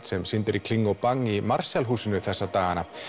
sem sýnd er í kling og bang í Marshall húsinu þessa dagana